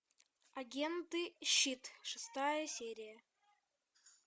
агенты щит шестая серия